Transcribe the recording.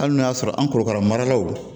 Hali n'o y'a sɔrɔ an korokara maralaw